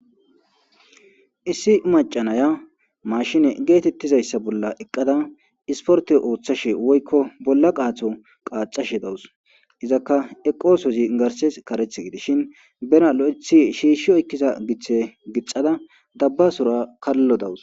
issi macanaya mashine geetettizayssa bolla eqqada isporte ooththashe woykko bolla qaatho qaacashe dawus izakka eqosozi garses karethe gideshin bena lo7ethi shiishshi oykkiza giththe gixada dabbasora kallo dawus